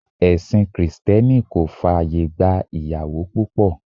Ẹ̀sìn Krìsìtẹ́nì kò fàyè gba ìyàwó púpọ̀.